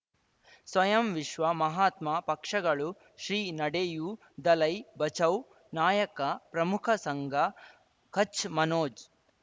ಸ್ವಯಂ ವಿಶ್ವ ಮಹಾತ್ಮ ಪಕ್ಷಗಳು ಶ್ರೀ ನಡೆಯೂ ದಲೈ ಬಚೌ ನಾಯಕ ಪ್ರಮುಖ ಸಂಘ ಕಚ್ ಮನೋಜ್